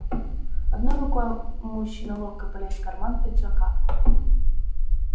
одной рукой мужчина ловко полез в карман пиджака